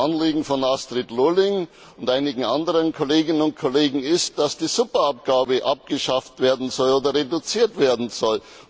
Das Anliegen von Astrid Lulling und einigen anderen Kolleginnen und Kollegen ist, dass die Superabgabe abgeschafft werden soll oder reduziert werden soll.